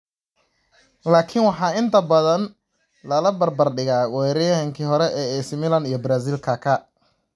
Laakiin waxaa inta badan lala barbar dhigaa weeraryahankii hore ee AC Milan iyo Brazil Kaka.